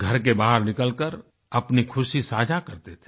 घर के बाहर निकलकर अपनी ख़ुशी साझा करते थे